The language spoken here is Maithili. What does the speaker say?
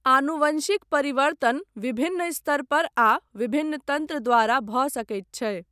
आनुवंशिक परिवर्तन विभिन्न स्तर पर आ विभिन्न तन्त्र द्वारा भऽ सकैत छै।